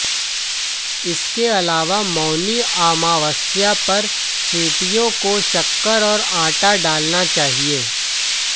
इसके अलावा मौनी अमावस्या पर चींटियों को शक्कर और आटा डालना चाहिए